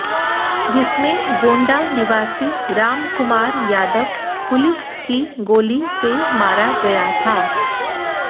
जिसमें गोंडा निवासी राम कुमार यादव पुलिस की गोली से मारा गया था